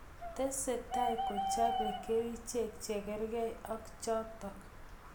Tesetai kechapee kercheek chekargei ak chotok